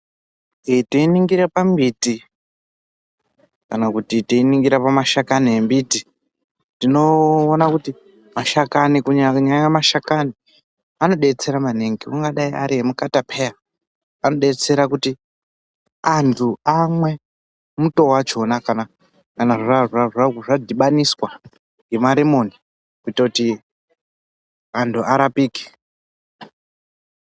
Eh teiningira pambiti kana kuti teiningira pamashakani embiti, tinoona kuti mashakani kunyanya mashakani anobetsera maningi. Angadai ari emukatapeya anobetsera kuti antu amwe muto wachona kana zvadhibaniswa ngemaremoni kuita kuti antu arapike.